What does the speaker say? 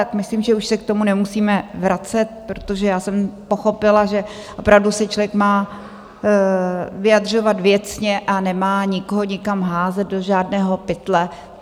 Tak myslím, že už se k tomu nemusíme vracet, protože já jsem pochopila, že opravdu se člověk má vyjadřovat věcně a nemá nikoho nikam házet, do žádného pytle.